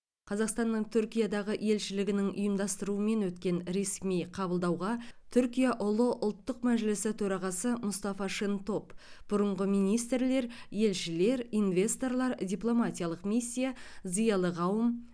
қазақстанның түркиядағы елшілігінің ұйымдастыруымен өткен ресми қабылдауға түркия ұлы ұлттық мәжілісі төрағасы мұстафа шентоп бұрынғы министрлер елшілер инвесторлар дипломатиялық миссия зиялы қауым